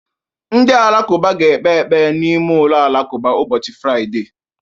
Ndị Alakụba ga-ekpe ekpere ha n'ime ụlọ alakụba ụbọchị Fraịde